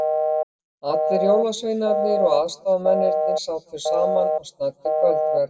Allir jólasveinarnir og aðstoðamennirnir sátu saman og snæddu kvöldverð.